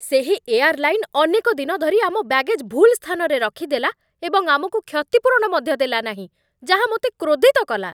ସେହି ଏୟାର୍‌ଲାଇନ୍ ଅନେକ ଦିନ ଧରି ଆମ ବ୍ୟାଗେଜ୍ ଭୁଲ୍ ସ୍ଥାନରେ ରଖିଦେଲା ଏବଂ ଆମକୁ କ୍ଷତିପୂରଣ ମଧ୍ୟ ଦେଲା ନାହିଁ, ଯାହା ମୋତେ କ୍ରୋଧିତ କଲା